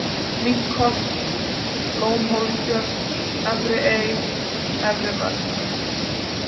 Minkholt, Lómhólstjörn, Efri Ey, Efri-Mörk